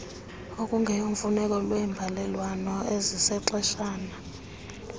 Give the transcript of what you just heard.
okungeyomfuneko lweembalelwano ezizexeshana